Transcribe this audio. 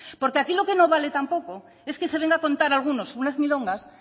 porque aquí lo que no vale tampoco es que se venga a contar a algunos unas milongas